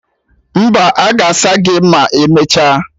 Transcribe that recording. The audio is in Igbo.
Mba, aga asa isi gị ma emecha